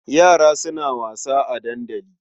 Yara suna wasa a dandali.